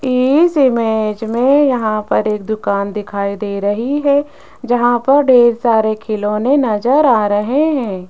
इस इमेज में यहां पर एक दुकान दिखाई दे रही है जहां पर ढेर सारे खिलौने नजर आ रहे हैं।